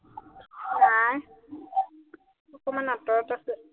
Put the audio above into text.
নাই অকমাণ আঁতৰত আছে